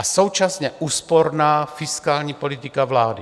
A současně úsporná fiskální politika vlády.